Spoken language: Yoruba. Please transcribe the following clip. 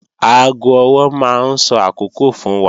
Aago ọwọ́ máa ń sọ àkókò fún wa